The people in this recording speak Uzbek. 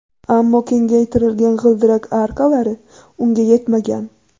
Ammo kengaytirilgan g‘ildirak arkalari unga yetmagan.